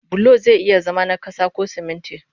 Bulo zai iya zama na ƙasa ko sumunti